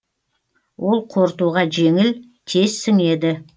ол қорытуға жеңіл тез сіңеді